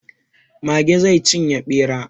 Mage zai cinye ɓera.